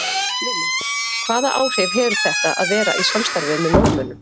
Lillý: Hvaða áhrif hefur þetta að vera í samstarfi með Norðmönnum?